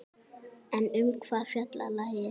En um hvað fjallar lagið?